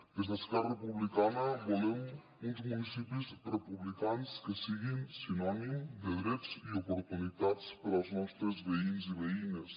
des d’esquerra republicana volem uns municipis republicans que siguin sinònim de drets i oportunitats per als nostres veïns i veïnes